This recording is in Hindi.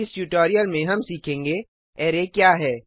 इस ट्यूटोरियल में हम सीखेंगे अरै क्या है